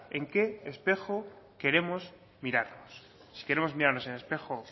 en qué espejo queremos mirarnos si queremos mirarnos en el espejo